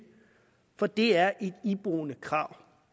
for det er et iboende krav